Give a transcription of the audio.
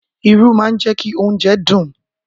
Irú má ń jẹ́kí oúnjẹ dùn